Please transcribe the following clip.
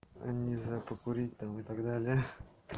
нельзя покурить там и так далее